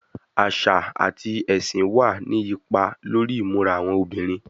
Àṣà àti ẹṣin máa ní ipa lórí ìmúra àwọn obìnrin.